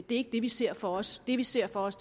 det er ikke det vi ser for os det vi ser for os